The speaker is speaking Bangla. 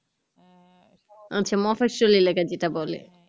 আচ্ছা মফসল এলাকা যেটা বলে